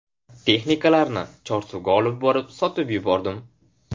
Texnikalarni Chorsuga olib borib sotib yubordim.